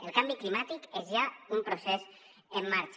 el canvi climàtic és ja un procés en marxa